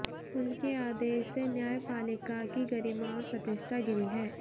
उनके आदेश से न्यायपालिका की गरिमा और प्रतिष्ठा गिरी है